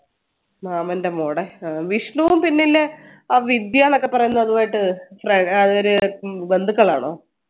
മാമൻറെ മോടെ ആഹ് വിഷ്ണു പിന്നെ ഇല്ലേ ആ വിദ്യാന്നൊക്കെ പറയുന്നതു ആയിട്ട് അവര് ബന്ധുക്കളാണോ